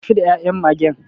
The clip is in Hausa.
Tafi da ya'yan Magen.